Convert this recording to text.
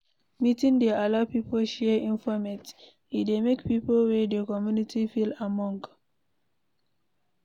meeting dey allow pipo share informate, e dey make pipo wey dey community feel among